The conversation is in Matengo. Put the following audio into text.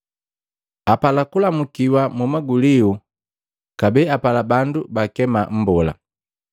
Apala kulamukiwa mu maguliu, kabee apala bandu baakema, ‘Mbola.’